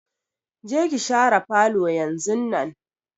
Je ki shara falo yanzunnan!